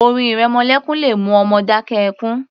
Orin ìrẹmọlékún le mú ọmọ dákẹ́ ẹkún